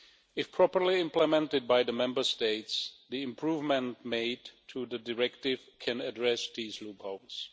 If properly implemented by the Member States, the improvements made to the directive can address these loopholes.